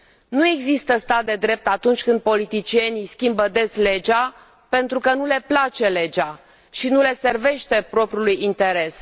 Nu există stat de drept atunci când politicienii schimbă des legea pentru că nu le place legea și nu le servește propriului interes.